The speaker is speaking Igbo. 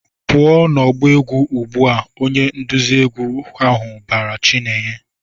"Pụọ n'ọgbọ egwu ugbu a!" Onye nduzi egwu ahụ bara Chinenye.